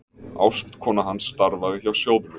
Ástkona hans starfaði hjá sjóðnum.